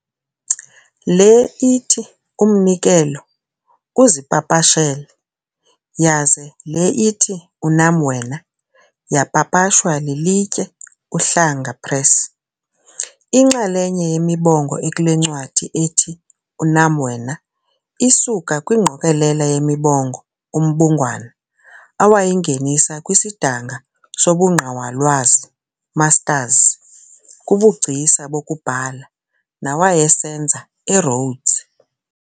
Le ithi "Umnikelo" uzipapashele yaze le ithi "Unam Wena" yapapashwa lilitye Uhlanga Press. Inxalenye yemibongo ekule ncwadi ithi 'Unam Wena' isuka kwingqokelela yemibongo uMbungwana awayingenisa kwisidanga sobuNgqawalwazi, Mastazi, kubuGcisa bokuBhala, nawayesenza eRhodes.